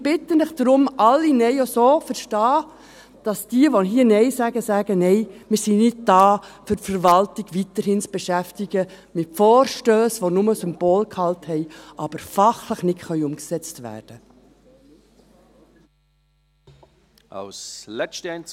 Ich bitte Sie darum, alle NeinStimmen auch so zu verstehen, dass all jene, die hier Nein sagen, sagen: «Nein, wir sind nicht da, um die Verwaltung weiterhin mit Vorstössen zu beschäftigen, die nur Symbolgehalt haben, aber fachlich nicht umgesetzt werden können.»